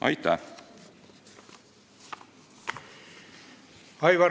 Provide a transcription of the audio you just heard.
Aitäh!